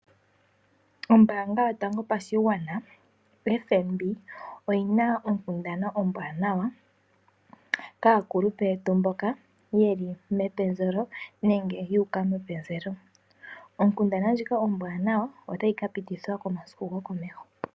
Ombaanga yotango yopashigwana, FNB oyina onkundana ombwaanawa kaakulupe yetu mboka yeli mepenzelo nenge yuuka mepenzelo. Onkundana ndjika ombwaanawa otayi kapitithwa komasiku gokomeho.